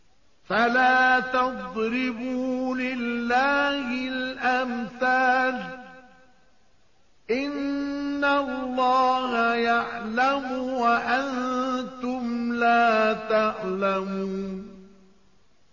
فَلَا تَضْرِبُوا لِلَّهِ الْأَمْثَالَ ۚ إِنَّ اللَّهَ يَعْلَمُ وَأَنتُمْ لَا تَعْلَمُونَ